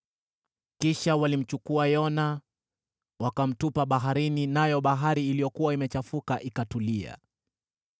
Kisha walimchukua Yona, wakamtupa baharini nayo bahari iliyokuwa imechafuka ikatulia.